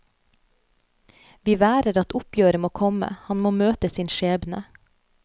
Vi værer at oppgjøret må komme, han må møte sin skjebne.